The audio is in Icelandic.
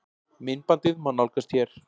Myndbandið má nálgast hér